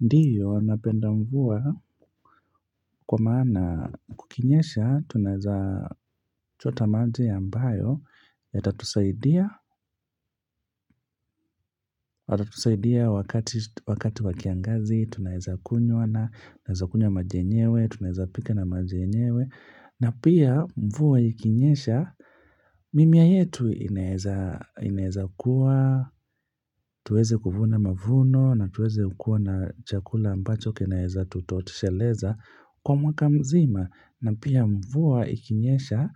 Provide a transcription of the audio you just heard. Ndio, napenda mvua kwa maana kukinyesha, tunaeza chota maji ambayo, yatatusaidia, watatusaidia wakati wa kiangazi, tunaeza kunywa na maji yenyewe, tunaeza pika na maji yenyewe, na pia mvua ikinyesha, mimea yetu inaeza kuwa, tuweze kuvuna mavuno, na tuweze kuwa na chakula ambacho kinaeza tutosheleza. Kwa mwaka mzima na pia mvua ikinyesha